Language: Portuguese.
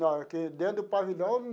Não, é que dentro do pavilhão.